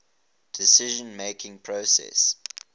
decision making process